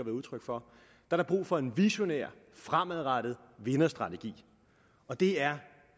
udtryk for er der brug for en visionær fremadrettet vinderstrategi og det er